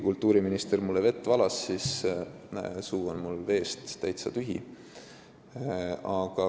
Kultuuriminister valas mulle vett, aga mu suu on veest täitsa tühi.